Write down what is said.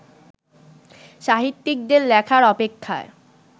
সাহিত্যিকদের লেখার অপেক্ষায়